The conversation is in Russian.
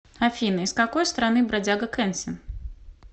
афина из какой страны бродяга кенсин